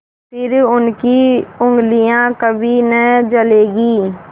फिर उनकी उँगलियाँ कभी न जलेंगी